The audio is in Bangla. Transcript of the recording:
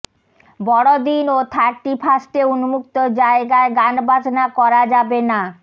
বড়দিন ও থার্টিফার্স্টে উন্মুক্ত জায়গায় গানবাজনা করা যাবে না